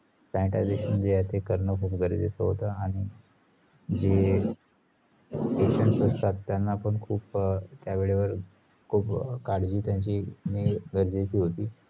sanitization जे आहे ते करने खुप गरजेच्या होता आणी जे patient असतात त्याना पण खुप त्यावेळेवर खुप काळजी त्यांची गरजेची होती